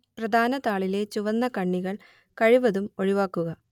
പ്രധാന താളിലെ ചുവന്ന കണ്ണികൾ കഴിവതും ഒഴിവാക്കുക